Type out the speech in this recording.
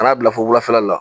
Kan'a bila fo wulafɛla la.